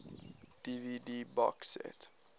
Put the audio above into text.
dvd box set